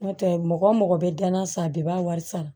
N'o tɛ mɔgɔ mɔgɔ bɛ dilan na san bɛɛ b'a wari sara